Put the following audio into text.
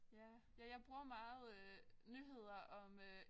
Ja ja ja bruger meget øh nyheder om øh